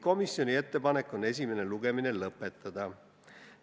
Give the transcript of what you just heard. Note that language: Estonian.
Komisjoni ettepanek on esimene lugemine lõpetada.